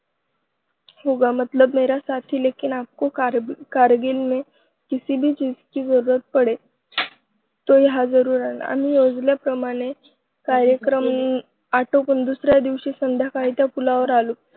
होगा, मतलब मेरा साथी लेकिन आपको कारगिल में किसी भी चीज की जरूरत पडे, तो यहाँ जरूर आना आम्ही योजल्याप्रमाणे कार्यक्रम आटोपून दुसऱ्या दिवशी संध्याकाळी त्या पुलावर आलो